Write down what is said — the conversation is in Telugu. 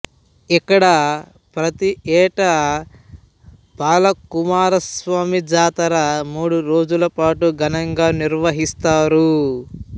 ఇక్కడ ప్రతియేటా బాలకుమారస్వామి జాతర మూడు రోజుల పాటు ఘనంగా నిర్వహిస్తారు